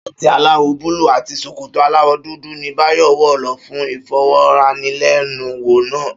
Ṣáàtì aláwọ̀ búlúù àti ṣòkòtò aláwọ̀ dúdú ni Báyọ̀ wọ̀ lọ fún ìfọ̀rọ̀wánilẹ́nuwò náà